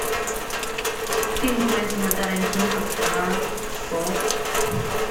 фильм квентина тарантино про псов